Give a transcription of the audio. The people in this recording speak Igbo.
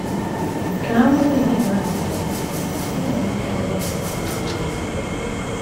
Ka anwụ ehihie ahụ na - ada, ya na ndị ozi ya arịgoo Ugwu Olive.